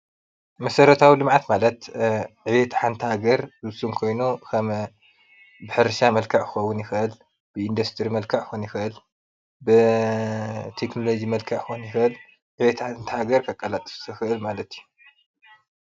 መሰረታዊ ልምዓት ማለት ዕብየት ሓንቲ ሃገር ዝዉስን ኮይኑ ከም ሕርሻ መልክዕ ክኸውን ይክእል፣ ብኢንዲስቱሪ መልክዕ ክኾን ይኽእል፣ ቴክኖሎጂ መልክዕ ክኮን ይኽእል ዕብየት ሓንቲ ሃገር ዘቃላጥፍ ዝኽእል ማለት እዩ።